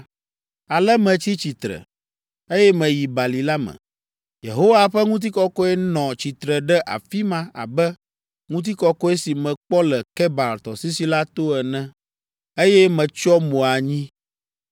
Ale metsi tsitre, eye meyi bali la me. Yehowa ƒe ŋutikɔkɔe nɔ tsitre ɖe afi ma abe ŋutikɔkɔe si mekpɔ le Kebar Tɔsisi la to ene, eye metsyɔ mo anyi.